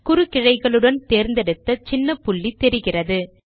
குறுக்கிழைகளுடன் தேர்ந்தெடுத்த சின்ன புள்ளி தெரிகிறது